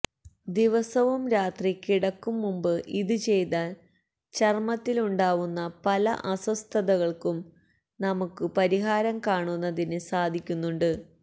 ദിവസവും രാത്രി കിടക്കും മുൻപ് ഇത് ചെയ്താൽ ചർമ്മത്തിലുണ്ടാവുന്ന പല അസ്വസ്ഥതകൾക്കും നമുക്ക് പരിഹാരം കാണുന്നതിന് സാധിക്കുന്നുണ്ട്